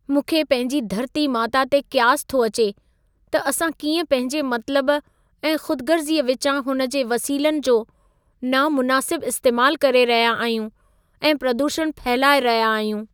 मूंखे पंहिंजी धरती माता ते क़यास थो अचे त असां कीअं पंहिंजे मतिलबु ऐं खु़दगर्ज़ी विचां हुन जे वसीलनि जो नामुनासिब इस्तेमाल करे रहिया आहियूं ऐं प्रदूषण फहिलाए रहिया आहियूं।